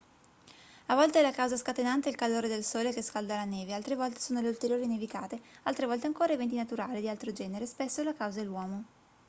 a volte la causa scatenante è il calore del sole che scalda la neve altre volte sono le ulteriori nevicate altre volte ancora eventi naturali di altro genere spesso la causa è l'uomo